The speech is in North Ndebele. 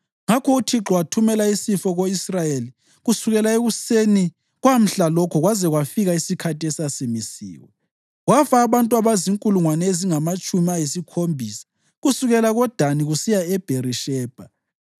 Ngakho uThixo wathumela isifo ko-Israyeli kusukela ekuseni kwamhlalokho kwaze kwafika isikhathi esasimisiwe, kwafa abantu abazinkulungwane ezingamatshumi ayisikhombisa kusukela koDani kusiya eBherishebha.